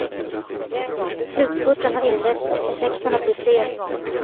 Slutspurten har inletts och effekterna blir fler.